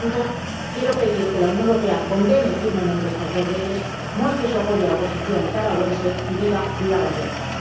Por lo tanto, quiero pedir que la Unión Europea condene firmemente estas dos leyes, muestre su apoyo a la oposición nicaragüense y diga viva la libertad.